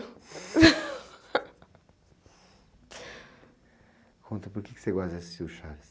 onta, por que você gosta de assistir o Chaves?